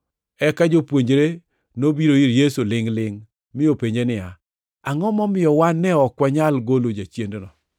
Eka jopuonjre nobiro ir Yesu lingʼ-lingʼ mi openje niya, “Angʼo momiyo wan ne ok wanyal golo jachiendno?”